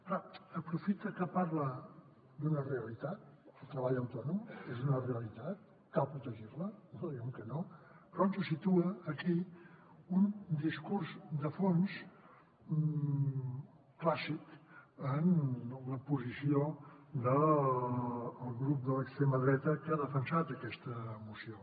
clar aprofita que parla d’una realitat el treball autònom és una realitat cal protegir la no diem que no però ens situa aquí un discurs de fons clàssic en la posició del grup de l’extrema dreta que ha defensat aquesta moció